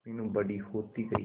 मीनू बड़ी होती गई